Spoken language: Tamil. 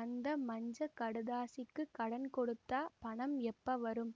அந்த மஞ்ச கடுதாசிக்குக் கடன் கொடுத்தா பணம் எப்பவரும்